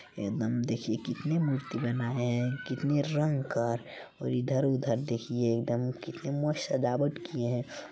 एकदम देखिए कितनी मूर्ति बना है कितने रंग का और इधर-उधर देखिए एकदम मस्त कितना सजावट किए है।